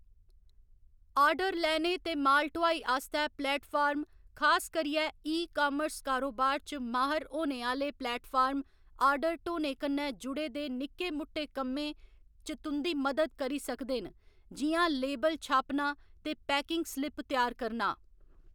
Order लैने ते माल ढुआई आस्तै प्लेटफार्म, खास करियै ई कामर्स कारोबार च माह्‌र होने आह्‌ले प्लेटफार्म, आर्डर ढोने कन्नै जुड़े दे निक्के मुट्टे कम्में च तुं'दी मदद करी सकदे न, जि'यां लेबल छापना ते पैकिंग स्लिप त्यार करना।